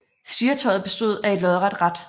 Styretøjet bestod af et lodret rat